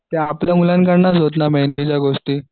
त्या आपल्या गोष्टी